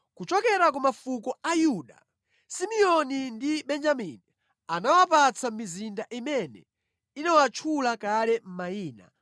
Kuchokera ku mafuko a Yuda, Simeoni ndi Benjamini anawapatsa mizinda imene inawatchula kale mayina.